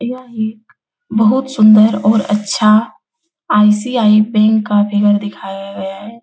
यह एक बहुत सुन्दर और अच्छा आई.सी.आई. बैंक का फिगर दिखाया गया है ।